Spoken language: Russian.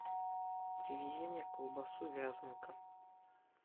привези мне колбасу вязанка